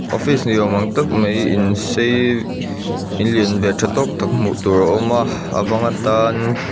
office ni awm ang tak mai in sei in lian ve tha tawk tak hmuh tur a awm a abang atan--